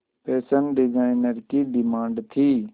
fashion designer की demand थी